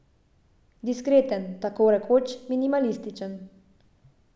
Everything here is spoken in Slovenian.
Diskreten, takorekoč minimalističen.